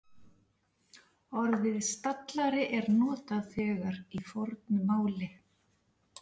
Orðið stallari er notað þegar í fornu máli.